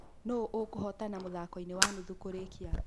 Nũũ ũkũhotana mũthako-inĩ wa nuthu kũrĩkia